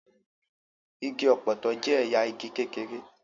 Igi ọ̀pọ̀tọ́ jẹ́ ẹ̀yà igi kékeré.